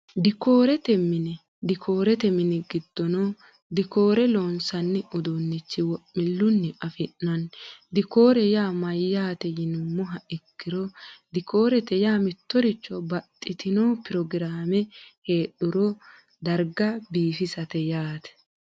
Dikkoorrete mine, dikoorete mini gidoonni dikoore loonsanni uduunicho wo'miluni afiinanni, dikkore yaa mayate yinumoha ikkiro dikkorete yaa mitoricho baxitinno pirograme heedhuro dariga biiffisate yaate